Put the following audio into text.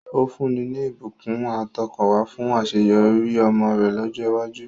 Ó fúnni ní ìbùkún àtọkànwá fún àṣeyọrí ọmọ rẹ̀ lọ́jọ́ iwájú.